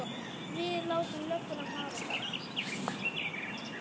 Við látum lögguna hafa það.